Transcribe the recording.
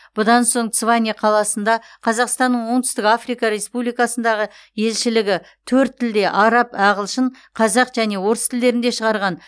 бұдан соң цване қаласында қазақстанның оңтүстік африка республикасындағы елшілігі төрт тілде араб ағылшын қазақ және орыс тілдерінде шығарған